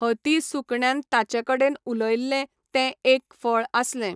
हती सुकण्यान ताचे कडेन उलयल्लें तें एक फळ आसलें.